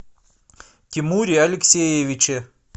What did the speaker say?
тимуре алексеевиче